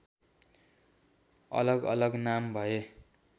अलगअलग नाम भए